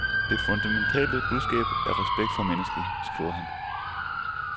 Det fundamentale budskab er respekt for mennesket, skriver han.